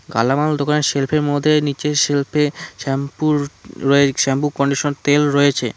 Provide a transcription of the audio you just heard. কালামাল দোকানের সেলফের মধ্যে নীচে সেলফে শ্যাম্পুর রয়ে শ্যাম্পু কন্ডিশন তেল রয়েছে।